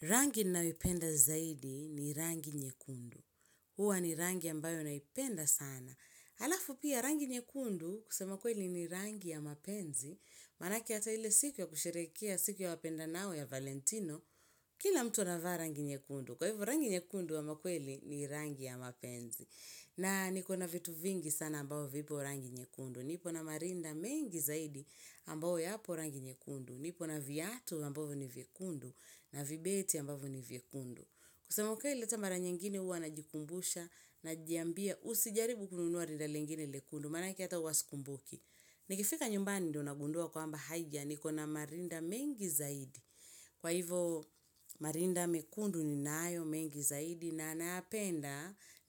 Rangi ninayoipenda zaidi ni rangi nyekundu. Huwa ni rangi ambayo naipenda sana. Halafu pia rangi nyekundu kusema kweli ni rangi ya mapenzi. Manake hata ile siku ya kusherehekea siku ya wapendanao ya Valentino. Kila mtu anavaa rangi nyekundu. Kwa hivo rangi nyekundu ama kweli ni rangi ya mapenzi. Na niko na vitu vingi sana ambayo vipo rangi nyekundu. Niko na marinda mengi zaidi ambayo yapo rangi nyekundu. Nipona viatu ambayo ni vyekundu na vibeti ambayo ni vyekundu. Kusema ukweli hata mara nyengine huwa najikumbusha najiambia usijaribu kununuwa rinda lengine lekundu manake hata huwa sikumbuki. Nikifika nyumbani ndo nagundua kwamba haiya niko na marinda mengi zaidi. Kwa hivo marinda mekundu ni nayo mengi zaidi na